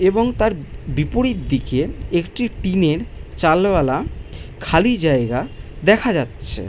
এবং তার বিপরীত দিকে একটি টিনের চালওয়ালা > খালি জায়গা দেখা যাচ্ছে ।